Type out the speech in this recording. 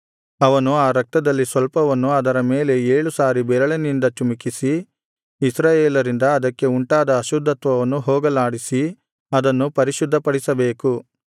ಅವನು ಆ ರಕ್ತದಲ್ಲಿ ಸ್ವಲ್ಪವನ್ನು ಅದರ ಮೇಲೆ ಏಳು ಸಾರಿ ಬೆರಳಿನಿಂದ ಚಿಮುಕಿಸಿ ಇಸ್ರಾಯೇಲರಿಂದ ಅದಕ್ಕೆ ಉಂಟಾದ ಅಶುದ್ಧತ್ವವನ್ನು ಹೋಗಲಾಡಿಸಿ ಅದನ್ನು ಪರಿಶುದ್ಧಪಡಿಸಬೇಕು